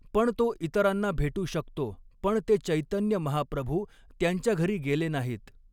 पण तो इतरांना भेटू शकतो पण ते चॆतन्य महाप्रभु त्यांच्या घरी गेले नाहीत.